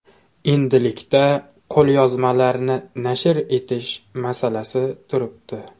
Endilikda qo‘lyozmalarni nashr etish masalasi turibdi.